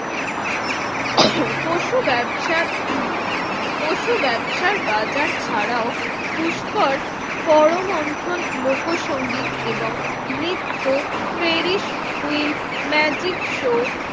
পশু ব্যবসার পশু ব্যবসার বাজার ছাড়াও পুষ্কর পরম অন্থন লোকসংগীত এবং নৃত্য ফেরিশ হুইল ম্যাজিক শো